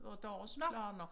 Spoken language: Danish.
Og deres planer